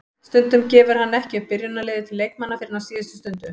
Stundum gefur hann ekki upp byrjunarliðið til leikmanna fyrr en á síðustu stundu.